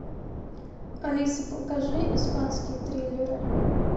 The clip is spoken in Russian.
алиса покажи испанские триллеры